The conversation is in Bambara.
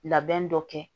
Labɛn dɔ kɛ